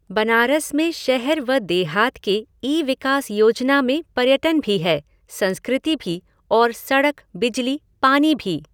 बनारस में शहर व देहात के इ विकास योजना में पर्यटन भी है, संस्कृति भी और सड़क, बिजली, पानी भी।